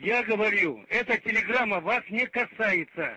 я говорил это телеграмма вас не касается